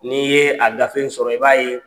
N'i ye a gafe in sɔrɔ i b'a ye